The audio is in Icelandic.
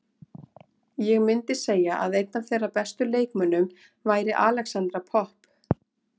Ég myndi segja að einn af þeirra bestu leikmönnum væri Alexandra Popp.